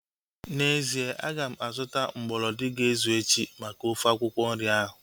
N'ezie, aga m azụta mgbolodi ga-ezu echi maka ofe akwụkwọ nri ahu